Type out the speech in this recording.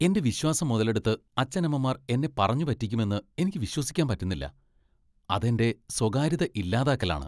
എന്റെ വിശ്വാസം മുതലെടുത്ത് അച്ഛനമ്മമാർ എന്നെ പറഞ്ഞു പറ്റിക്കുമെന്ന് എനിക്ക് വിശ്വസിക്കാൻ പറ്റുന്നില്ല .അത് എന്റെ സ്വകാര്യത ഇല്ലാതാക്കലാണ്.